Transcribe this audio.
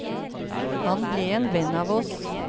Han ble en venn av oss.